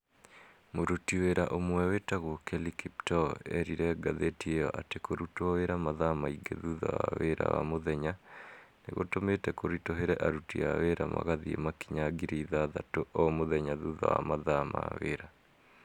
Mũruti wĩra ũmwe wĩtagwo kelly kipto eerire ngathĩti ĩyo atĩ kũrutwo wĩra mathaa maingĩ thutha wa wĩra wa mũthenya nĩ gũtũmĩte kũritũhĩre aruti a wĩra magathiĩ makinya ngiri ithathatũ o mũthenya thutha wa mathaa ma wĩra.